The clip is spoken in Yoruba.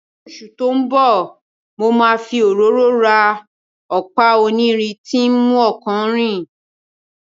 Ní oṣù tó ń bọ̀, mo máa fi òróró ra ọ̀pá onírin tí ń mú ọkọ̀ rìn